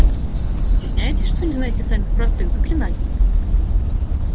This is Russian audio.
стесняетесь что не знаете самых простых заклинаний